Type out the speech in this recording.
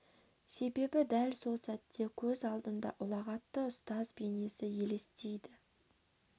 себебі дәл сол сәтте көз алдында ұлағатты ұстаз бейнесі елестейді